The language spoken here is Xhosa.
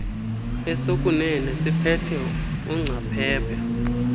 esokuunene siphethe ungcaphephe